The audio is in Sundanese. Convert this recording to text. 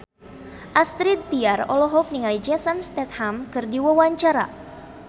Astrid Tiar olohok ningali Jason Statham keur diwawancara